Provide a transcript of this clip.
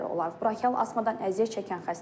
Bronkial asmadan əziyyət çəkən xəstələr.